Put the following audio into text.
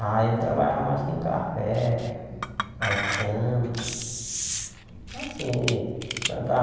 Ah, ele trabalhava mais com café, é cana. Assim plantava